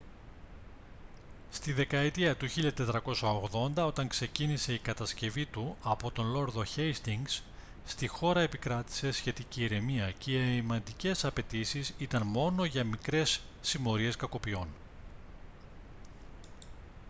στη δεκαετία του 1480 όταν ξεκίνησε η κατασκευή του από το λόρδο χέιστινγκς στη χώρα επικρατούσε σχετική ηρεμία και οι αμυντικές απαιτήσεις ήταν μόνο για μικρές συμμορίες κακοποιών